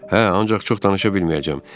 Hə, ancaq çox danışa bilməyəcəm.